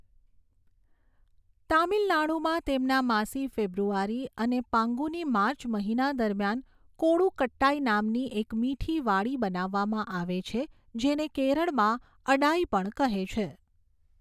તામિલનાડુમાં તેમના માસી ફેબ્રુઆરી અને પાન્ગુની માર્ચ મહિના દરમિયાન કોળુકટ્ટાઈનામની એક મીઠી વાડી બનાવવામાં આવે છે જેને કેરળમાં અડાઈ પણ કહે છે.